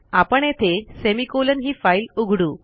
आपण येथे सेमिकोलॉन ही फाईल उघडू